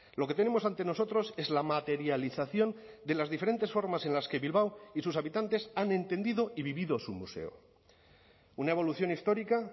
lo que tenemos ante nosotros es la materialización de las diferentes formas en las que bilbao y sus habitantes han entendido y vivido su museo una evolución histórica